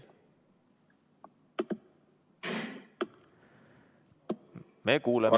Me kuulame.